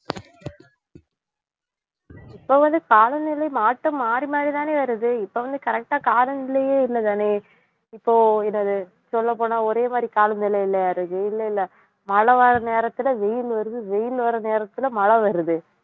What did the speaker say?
இப்ப வந்து காலநிலை மாற்றம் மாறி மாறி தானே வருது இப்ப வந்து கரெக்ட்டா கால நிலையே இல்லை தானே இப்போ என்னது சொல்லப்போனா ஒரே மாதிரி கால நிலையிலே இல்லை இல்லை மழை வர நேரத்திலே வெயில் வருது வெயில் வர நேரத்திலே மழை வருது